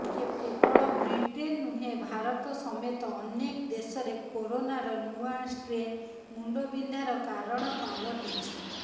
କେବଳ ବ୍ରିଟେନ୍ ନୁହେଁ ଭାରତ ସମେତ ଅନେକ ଦେଶରେ କରୋନାର ନୂଆ ଷ୍ଟ୍ରେନ୍ ମୁଣ୍ଡ ବିନ୍ଧାର କାରଣ ପାଲଟିଛି